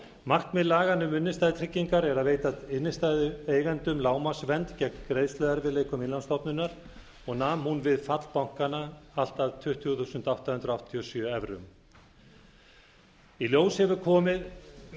markmið laganna um innstæðutryggingar er að veita innstæðueigendum lágmarksvernd gegn greiðsluerfiðleikum innlánsstofnunar og nam hún við fall bankanna allt að tuttugu þúsund átta hundruð áttatíu og sjö evrum í ljós hefur komið